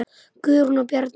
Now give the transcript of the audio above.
Guðrún og Bjarni.